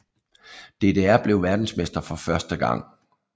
DDR blev verdensmestre for første gang